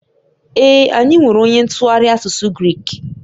Ee, anyị nwere onye ntụgharị asụsụ Grik